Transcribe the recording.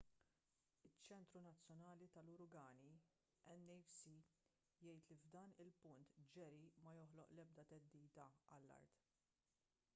iċ-ċentru nazzjonali tal-uragani nhc jgħid li f’dan il-punt jerry ma joħloq l-ebda theddida għall-art